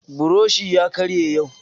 Buroshi ya karye yau